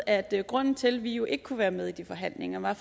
at grunden til at vi ikke kunne være med i de forhandlinger var